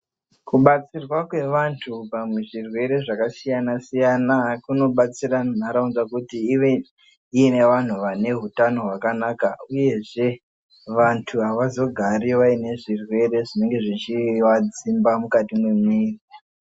Kubatsirwa kwevantu pamwe muzvirwere zvakasiyana-siyana. Kunobatsira nharaunda kuti ive ine vantu vane hutano hwakanaka, uyezve vantu havazogari vaine zvirwere zvinenge zvichivadzimba mukati mwemwiri.